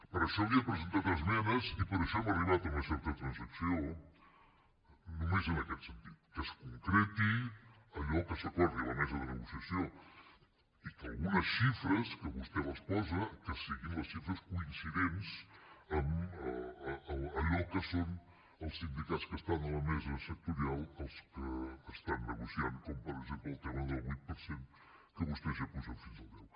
per això li he presentat esmenes i per això hem arribat a una certa transacció només en aquest sentit que es concreti allò que s’acordi a la mesa de negociació i que algunes xifres que vostè les posa que siguin les xifres coincidents amb allò que són els sindicats que estan a la mesa sectorial els que estan negociant com per exemple el tema del vuit per cent que vostès ja apugen fins al deu